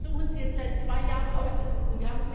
Das versuchen Sie jetzt seit zwei Jahren auszusitzen.